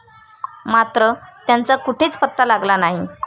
मात्र, त्यांचा कुठेच पत्ता लागला नाही.